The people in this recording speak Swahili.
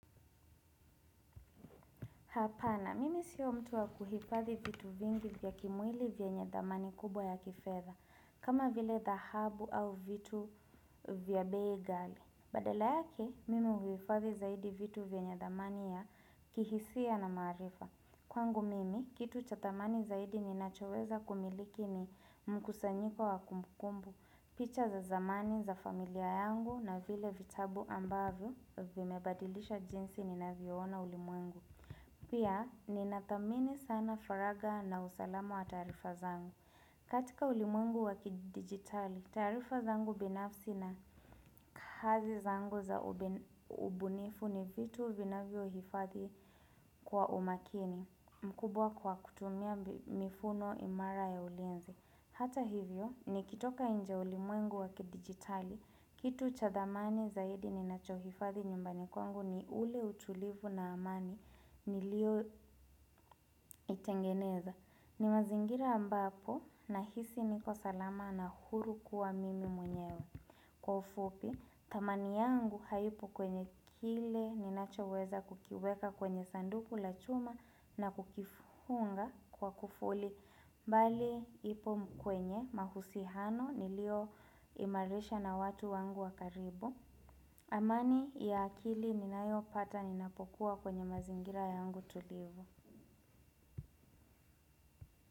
Hapana, mimi sio mtu wa kuhifadhi vitu vingi vya kimwili vyenye dhamani kubwa ya kifedha, kama vile dhahabu au vitu vya bei ghali. Badala yake, mimi huhifadhi zaidi vitu vyenye dhamani ya kihisia na maarifa. Kwangu mimi, kitu cha dhamani zaidi ninachoweza kumiliki ni mkusanyiko wa kumbukumbu, picha za zamani za familia yangu na vile vitabu ambavyo vimebadilisha jinsi ni na vyoona ulimwengu. Pia, ninathamini sana faragha na usalamu wa taarifa zangu. Katika ulimwengu wakidigitali, taarifa zangu binafsi na kazi zangu za ubunifu ni vitu vinavyo hifadhi kwa umakini mkubwa kwa kutumia mifumo imara ya ulinzi. Hata hivyo, nikitoka nje ya ulimwengu wakidigitali, kitu cha dhamani zaidi ni nacho hifadhi nyumbani kwangu ni ule utulivu na amani niliyo itengeneza. Ni mazingira ambapo na hisi niko salama na huru kuwa mimi mwenyewe. Kwa ufupi, dhamani yangu haipo kwenye kile ninacho weza kukiweka kwenye sanduku la chuma na kukifunga kwa kufuli mbali ipo kwenye mahusiano niliyo imarisha na watu wangu wakaribu. Amani ya akili ninayo pata ninapokuwa kwenye mazingira yangu tulivu.